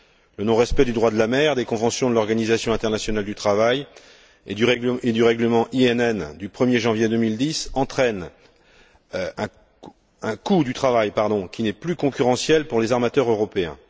Le non respect du droit de la mer, des conventions de l'Organisation internationale du travail et du règlement INN du 1er janvier 2010 entraîne un coût du travail qui n'est plus concurrentiel pour les armateurs européens.